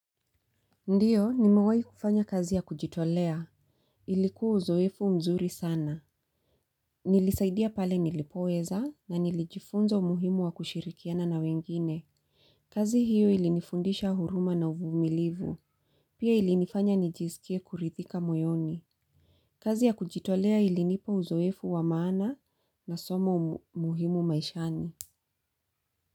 Ndiyo, nimewai kufanya kazi ya kujitolea. Ilikuwa uzoefu mzuri sana. Nilisaidia pale nilipoweza na nilijifunza umuhimu wa kushirikiana na wengine. Kazi hiyo ilinifundisha huruma na uvumilivu. Pia ilinifanya nijizikie kurithika moyoni. Kazi ya kujitolea ilinipa uzoefu wa maana na somo muhimu maishani.